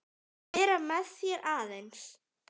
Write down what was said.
Vera með þér aðeins.